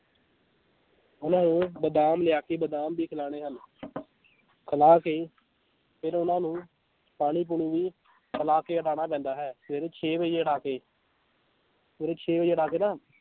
ਉਹਨਾਂ ਨੂੰ ਬਦਾਮ ਲਿਆ ਕੇ ਬਦਾਮ ਵੀ ਖਿਲਾਉਣੇ ਹਨ ਖਿਲਾ ਕੇ ਫਿਰ ਉਹਨਾਂ ਨੂੰ ਪਾਣੀ ਪੂਣੀ ਵੀ ਪਿਲਾ ਕੇ ਉਡਾਉਣਾ ਪੈਂਦਾ ਹੈ ਸਵੇਰੇ ਛੇ ਵਜੇ ਉੱਡਾ ਕੇ ਛੇ ਵਜੇ ਉੱਡਾ ਕੇ ਨਾ